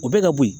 O bɛ ka bo yen